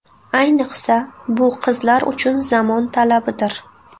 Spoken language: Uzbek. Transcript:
Ayniqsa, bu qizlar uchun zamon talabidir.